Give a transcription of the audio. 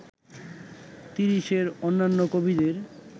তিরিশের অন্যান্য কবিদের